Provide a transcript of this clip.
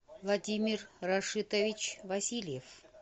владимир рашитович васильев